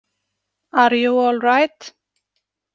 Are you allright?